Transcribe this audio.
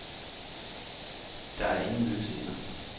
Der er ingen løse ender.